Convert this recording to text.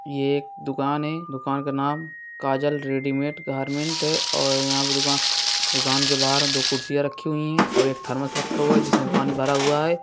ये एक दुकान है दुकान का नाम काजल रेडीमेड गारमेंट है| और यहाँ पे दुका दुकान के बहार दो कुर्सियां रखी हुई है और एक थर्मस रखा हुआ है जिसमें पानी भरा हुआ है।